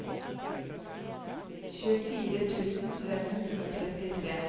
tjuefire tusen fem hundre og trettitre